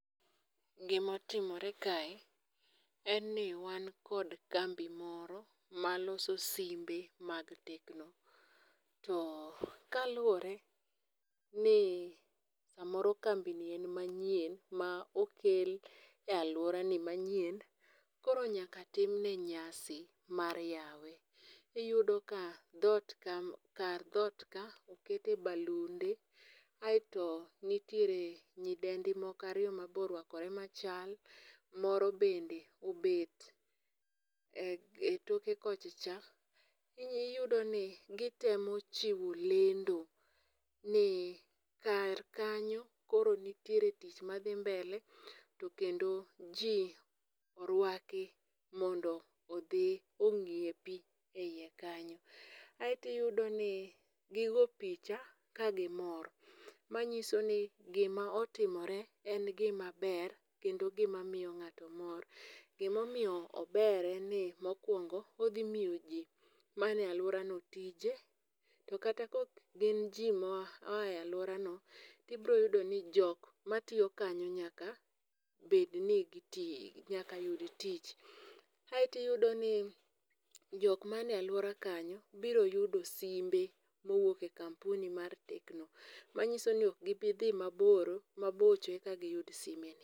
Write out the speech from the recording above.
Gimotimore kae en ni wan kod kambi moro maloso simbe mag Tecno to kaluwore ni samoro kambini en manyien ma okel e alworani manyien koro nyaka timne nyasi mar yawe, iyudo ka kar dhot okete balunde, aeto nitiere nyidendi moko ariyo mabe orwakore machal, moro bende obet e toke kocha cha, iyudo i gitemo chiwo lendo ni kar kanyo koro nitiere tich madhi mbele to kendo ji orwaki mondo odhi ong'iepi e iye kanyo, aeto iyudoni gigo picha ka gimor, manyiso ni gima otimore en gimaber kendo gima miyo ng'ato mor. Gimomiyo ober en ni mokwongo odhi miyo ji mane alworano tije, to kata ka ok gin jo moa e alworano, tibro yudo ni jok matiyo kanyo nyaka yud tich, aeto iyudo ni jok mane alwora kanyo biro yude simbe mowuok e kampuni mar Tecno, manyiso ni ok gibidhi mabocho eka giyud sime ni.